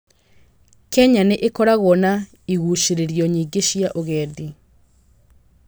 Kenya nĩ ĩkoragwo na igucĩĩrĩrio nyingĩ cia ũgendi.